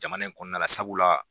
Jamana in kɔnɔna la sabula